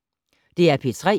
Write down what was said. DR P3